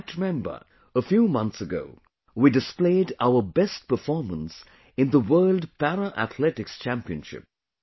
You might remember... a few months ago, we displayed our best performance in the World Para Athletics Championship